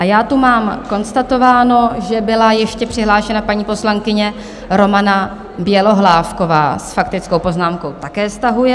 A já tu mám konstatováno, že byla ještě přihlášena paní poslankyně Romana Bělohlávková s faktickou poznámkou - také stahuje.